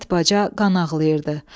Həyət baca qan ağlayırdı.